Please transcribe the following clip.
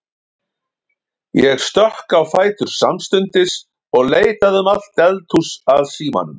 Ég stökk á fætur samstundis og leitaði um allt eldhús að símanum.